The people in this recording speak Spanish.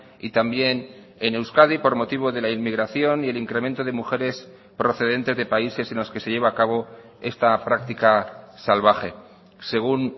y también en euskadi por motivo de la inmigración y el incremento de mujeres procedentes de países en los que se lleva a cabo esta práctica salvaje según